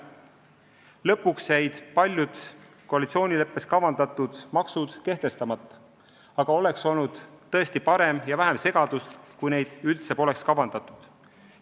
Lõpuks jäid paljud koalitsioonileppes kavandatud maksud kehtestamata, aga oleks olnud tõesti parem ja vähem segadust, kui neid üldse poleks kavandatud.